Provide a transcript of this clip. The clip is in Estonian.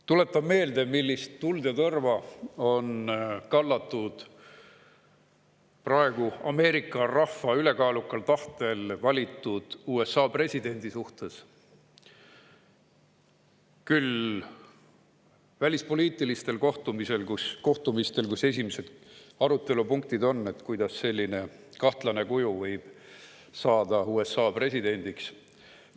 Tuletan meelde, millist tuld ja tõrva on kallatud praegu Ameerika rahva ülekaalukal tahtel valitud USA presidendi suhtes välispoliitilistel kohtumistel, kus esimesed arutelupunktid on, kuidas selline kahtlane kuju võib saada USA presidendiks.